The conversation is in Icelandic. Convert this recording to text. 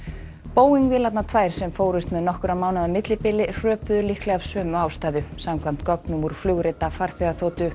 Boeing vélarnar tvær sem fórust með nokkurra mánaða millibili hröpuðu líklega af sömu ástæðu samkvæmt gögnum úr flugrita farþegaþotu